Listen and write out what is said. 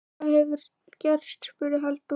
Hvað hefur gerst? spurði Halldór.